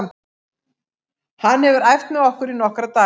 Hann hefur æft með okkur í nokkra daga.